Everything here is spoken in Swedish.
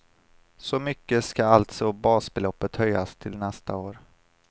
Så mycket ska alltså basbeloppet höjas till nästa år.